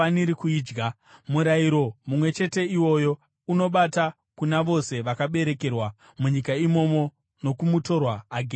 Murayiro mumwe chete iwoyo unobata kuna vose vakaberekerwa munyika imomo nokumutorwa agere pakati penyu.”